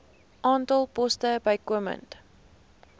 aantal poste bykomend